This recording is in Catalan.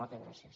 moltes gràcies